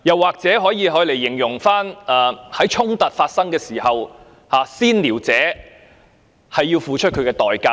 此外，這也可以用來形容最近所發生的衝突，"先撩者"要付出代價。